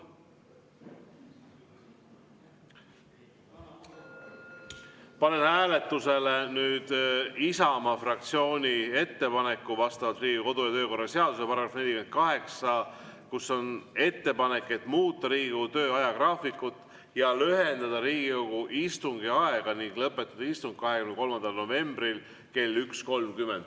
Panen nüüd hääletusele Isamaa fraktsiooni ettepaneku vastavalt Riigikogu kodu- ja töökorra seaduse §-le 48 muuta Riigikogu tööajagraafikut ja lühendada Riigikogu istungi aega ning lõpetada istung 23. novembril kell 1.30.